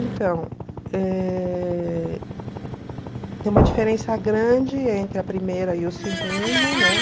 Então, eh tem uma diferença grande entre a primeira e o segundo, né?